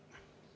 Aitäh!